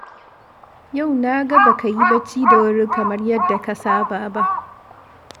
Yau na ga ba ka yi bacci da wuri kamar yadda ka saba ba